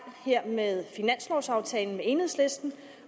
her med finanslovaftalen med enhedslisten